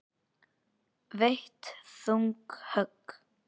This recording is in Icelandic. Veitt þung högg.